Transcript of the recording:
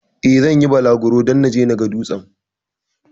Eh, zan yi bulaguro don naje na ga dutsen.